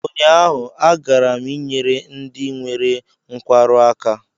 Ụnyaahụ, agara m ịnyere ndị nwere nkwarụ aka